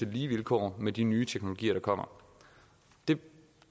lige vilkår med de nye teknologier der kommer vi